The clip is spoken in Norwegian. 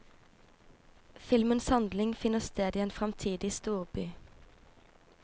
Filmens handling finner sted i en framtidig storby.